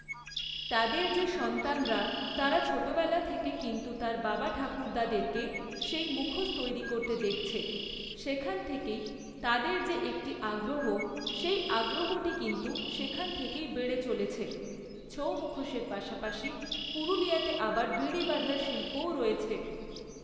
তাদের যে সন্তানরা, তারা ছোটোবেলা থেকে কিন্তু তার বাবা ঠাকুরদাদেরকে সেই মুখোশ তৈরি করতে দেখছে, সেখান থেকেই তাদের যে একটি আগ্রহ, সেই আগ্রহটি কিন্তু সেখান থেকেই বেড়ে চলেছে। ছৌ মুখোশের পাশাপাশি পুরুলিয়াতে আবার বিড়ি বাঁধার শিল্পও রয়েছে।